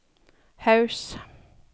Haus